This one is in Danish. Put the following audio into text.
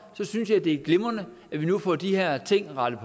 synes jeg det er glimrende at vi nu får de her ting rettet